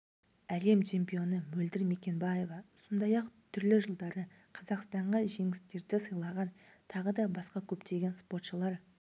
әлем чемпионы мөлдір мекенбаева сондай-ақ түрлі жылдары қазақстанға жеңістерді сыйлаған тағы да басқа көптеген спортшылар